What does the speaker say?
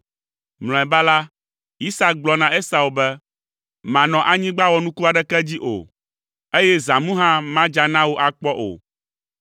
Mlɔeba la, Isak gblɔ na Esau be, “Manɔ anyigba wɔnuku aɖeke dzi o, eye zãmu hã madza na wò akpɔ o.